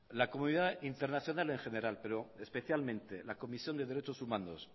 la comunidad internacional en general pero especialmente la comisión de derechos humanos